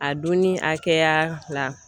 A dunni hakɛya la.